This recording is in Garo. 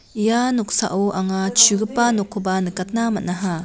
ia noksao anga chugipa nokkoba nikatna man·aha.